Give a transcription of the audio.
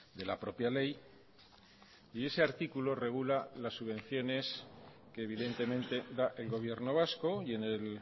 de la propia ley y ese artículo regula las subvenciones que evidentemente da el gobierno vasco y en el